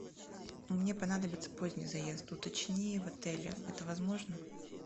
мне понадобится поздний заезд уточни в отеле это возможно